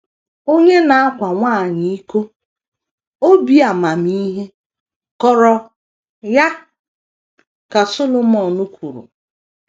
“ Onye na - akwa nwanyị iko, obi amamihe kọrọ ya, ” ka Solomọn kwuru.